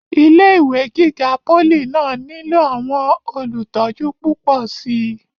ilé ìwé gíga pólì náà nílò àwọn olùtọ́jú púpọ̀ síi